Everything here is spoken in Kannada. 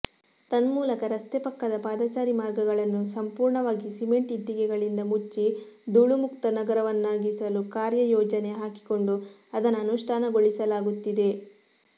ತನ್ಮೂಲಕ ರಸ್ತೆ ಪಕ್ಕದ ಪಾದಚಾರಿ ಮಾರ್ಗಗಳನ್ನು ಸಂಪೂರ್ಣವಾಗಿ ಸಿಮೆಂಟ್ ಇಟ್ಟಿಗೆಗಳಿಂದ ಮುಚ್ಚಿ ಧೂಳುಮುಕ್ತ ನಗರವನ್ನಾಗಿಸಲು ಕಾರ್ಯಯೋಜನೆ ಹಾಕಿಕೊಂಡು ಅದನ್ನು ಅನುಷ್ಠಾನಗೊಳಿಸಲಾಗುತ್ತಿದೆ